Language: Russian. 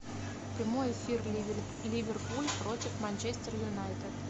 прямой эфир ливерпуль против манчестер юнайтед